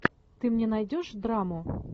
ты мне найдешь драму